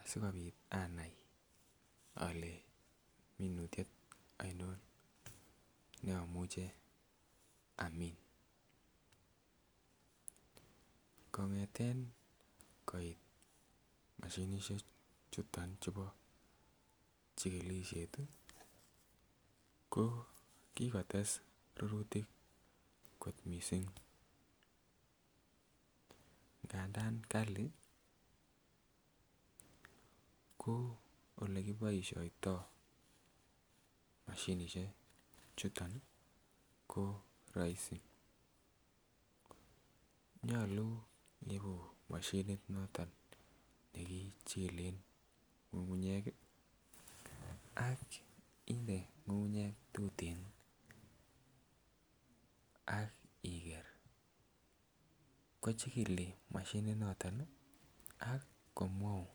asikopit anai ole minutyet oinon neimuche amin. Kongete koit moshinishek chuton chubo chikikishet tii ko kikotes rurutik kot missing , ngandan Kali ko olekiboishoito mashinishek chuto ko roisi, nyolu ibu moshinit noton nekichilen ngungunyek kii ak inde ngungunyek tuten ak iker akochikili Mashinit niton nii ak komwoun.